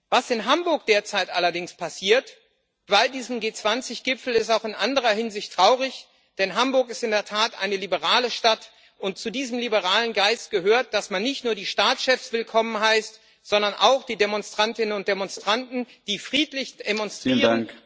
Was in Hamburg bei diesem G20 Gipfel derzeit allerdings passiert, ist auch in anderer Hinsicht traurig, denn Hamburg ist in der Tat eine liberale Stadt, und zu diesem liberalen Geist gehört, dass man nicht nur die Staatschefs willkommen heißt, sondern auch die Demonstrantinnen und Demonstranten, die friedlich demonstrieren.